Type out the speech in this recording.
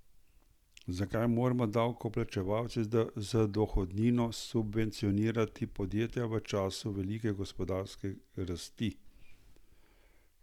Zakaj moramo davkoplačevalci z dohodnino subvencionirati podjetja v času velike gospodarske rasti?